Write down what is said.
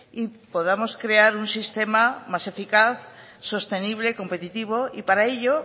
y podamos crear un sistema más eficaz sostenible competitivo y para ello